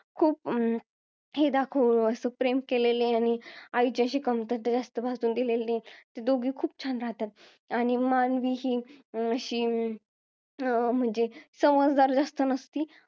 खूप अं हे दाखवलं असं प्रेम केलेला आणि आईची अशी कमतरता भासू दिली नाही ती खूप दोघी खूप छान राहतात आणि मानवी ही अशी अं म्हणजे समजदार जास्त नसती